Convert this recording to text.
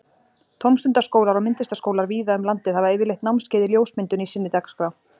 Tómstundaskólar og myndlistaskólar víða um landið hafa yfirleitt námskeið í ljósmyndun í sinni dagskrá.